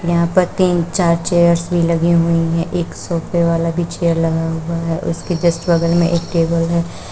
यहां पर तीन चार चेयर्स भी लगी हुई हैं एक सोफे वाला भी चेयर लगा हुआ है उसके जस्ट बगल में एक टेबल है।